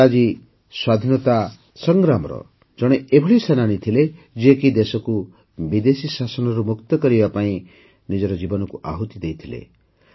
ଲାଲାଜୀ ସ୍ୱାଧୀନତା ସଂଗ୍ରାମର ଜଣେ ଏଭଳି ସେନାନୀ ଥିଲେ ଯିଏକି ଦେଶକୁ ବିଦେଶୀ ଶାସନରୁ ମୁକ୍ତ କରିବା ପାଇଁ ନିଜର ଜୀବନକୁ ଆହୂତି ଦେଇଦେଇଥିଲେ